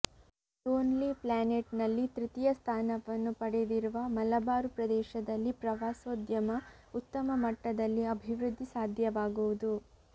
lonely ಪ್ಲಾನೆಟ್ನಲ್ಲಿ ತೃತೀಯ ಸ್ಥಾನವನ್ನು ಪಡೆದಿರುವ ಮಲಬಾರು ಪ್ರದೇಶದಲ್ಲಿ ಪ್ರವಾಸೋದ್ಯಮ ಉತ್ತಮ ಮಟ್ಟದಲ್ಲಿ ಅಭಿವೃದ್ಧಿ ಸಾಧ್ಯವಾಗುವುದು